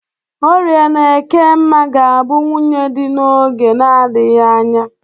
Orie na Ekemma ga-abụ nwunye dị n'oge na-adaghị anya.